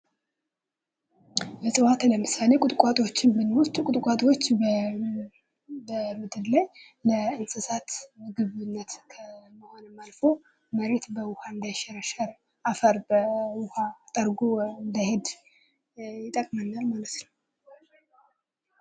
እፅዋት ለምሳሌ ቁጥቋጦዎችን ብንወስድ ቁጥቋጦዎች በምድር ላይ ለእንሰሳት ምግብነት ከመሆንም አልፎ መሬት በውሃ እንዳይሸረሸር ፤ አፈር በውሃ ጠርጎ እንዳይሄድ ይጠቅመናል ማለት ነው ።